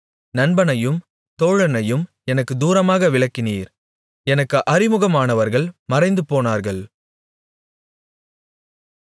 நண்பனையும் தோழனையும் எனக்குத் தூரமாக விலக்கினீர் எனக்கு அறிமுகமானவர்கள் மறைந்து போனார்கள்